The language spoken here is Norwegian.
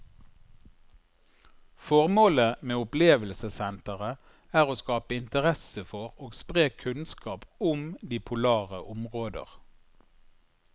Formålet med opplevelsessenteret er å skape interesse for og spre kunnskap om de polare områder.